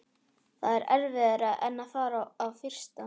Það er erfiðara en að fara á fyrsta